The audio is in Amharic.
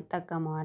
እጠቀመዋለሁ